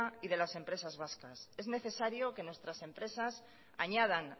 y de las empresas vascas es necesario que nuestras empresas añadan